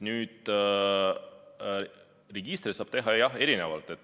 Nüüd, registrit saab teha, jah, erinevalt.